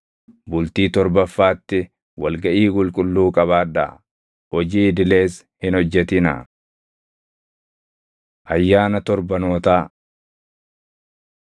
Bultii torbaffaatti wal gaʼii qulqulluu qabaadhaa; hojii idilees hin hojjetinaa. Ayyaana Torbanootaa 28:26‑31 kwf – Lew 23:15‑22; KeD 16:9‑12